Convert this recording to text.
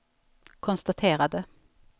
konstaterade